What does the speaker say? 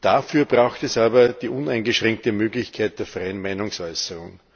Dafür braucht es aber die uneingeschränkte Möglichkeit der freien Meinungsäußerung.